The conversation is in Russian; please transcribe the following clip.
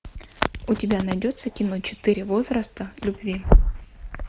у тебя найдется кино четыре возраста любви